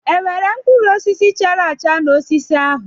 E nwere mkpụrụ osisi chara acha n'osisi ahụ?